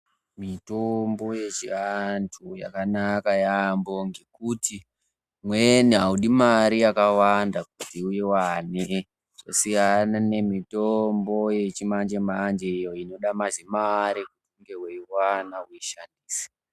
Mitombo yechiantu yakanaka yaamho ngekuti imweni aidi mare yakawanda kuti uiwane, zvasiyana nemitombi yechimanje manje iyo inode mazimare ekuwanda kuishandisa.